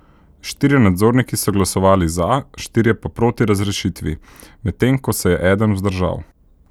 Štirje nadzorniki so glasovali za, štirje pa proti razrešitvi, medtem ko se je eden vzdržal.